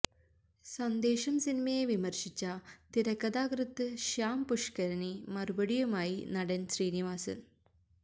സന്ദേശം സിനിമയെ വിമര്ശിച്ച തിരക്കഥാകൃത്ത് ശ്യം പുഷ്കരന് മറുപടിയുമായി നടന് ശ്രീനിവാസന്